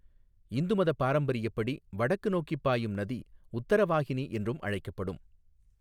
இந்து மதப் பாரம்பரியப்படி, வடக்கு நோக்கிப் பாயும் நதி உத்தரவாஹினி என்றும் அழைக்கப்படும்.